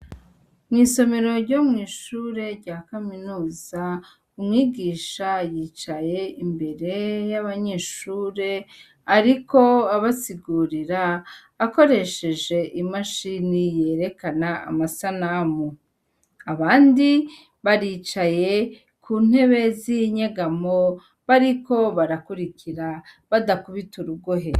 Mw’isomero ryo mwishure rya kaminuza, umwigisha yicaye imbere y’abanyeshure ariko abasigurira akoresheje imashini yerekana amasanamu, abandi baricaye ku ntebe z’inyegamo bariko barakurikira badakubita urugohe.